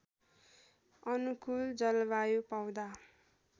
अनुकूल जलवायु पाउँदा